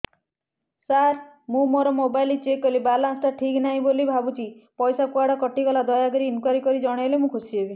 ସାର ମୁଁ ମୋର mobile check କଲି ବାଲାନ୍ସ ଟା ଠିକ ନାହିଁ ବୋଲି ଭାବୁଛି ପଇସା କୁଆଡେ କଟି ଗଲା କି ଦୟାକରି ଇନକ୍ୱାରି କରି ଜଣାଇଲେ ମୁଁ ଖୁସି ହେବି